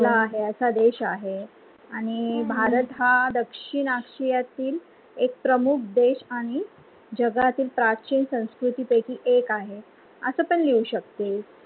असा देश आहे, आणि भारत हा दक्षिण आशिया येथील एक प्रमुख देश आणि गजातील प्राचीन संस्कृति पैकी एक आहे. असा पण लिहू शकते